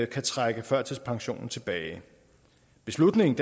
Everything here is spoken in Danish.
kan trække førtidspensionen tilbage beslutningen